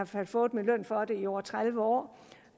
fald fået min løn for det i over tredive år